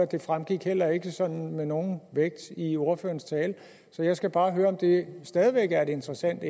det fremgik heller ikke med nogen vægt i ordførerens tale så jeg skal bare høre om det stadig væk er interessant